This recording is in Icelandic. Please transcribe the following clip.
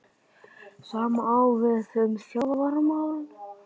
Sama á við um þjálfaramál?